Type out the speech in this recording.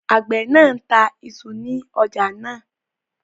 Àgbẹ̀ náà ta isu ní ọjà náà